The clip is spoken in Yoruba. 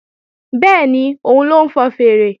Bẹ́ẹ̀ni, òun ló ń fọn fèèrè